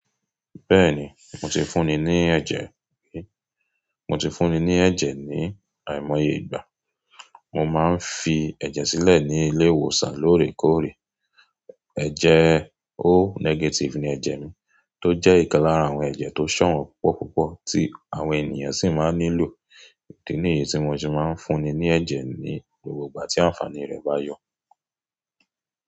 Bẹ́ẹ̀ni, mo ti fún ni ní ẹ̀jẹ̀ rí. Mo ti fún ni ní ẹ̀jẹ̀ ní àìmoye ìgbà. Mo máa ń fi ẹ̀jẹ̀ sílẹ̀ ní ilé ìwòsàn lóòrèkóòrè. Ẹ̀jẹ̀ O negative ni ẹ̀jẹ̀ mi, tó jẹ́ ìkan lára àwọn ẹ̀jẹ̀ tó ṣọ̀wọ́n púpọ̀púpọ̀ tí àwọn ènìyàn sì máa ń nílò. Èdè nìyí tí mo ti máa ń fún ni ní ẹ̀jẹ̀ ní gbogbo ìgbà tí àǹfàní rẹ̀ bá yọ.